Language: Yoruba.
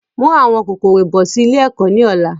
Mú àwọn kòkòrò bọ̀ sì ilé ẹ̀kọ́ ni ọ̀la!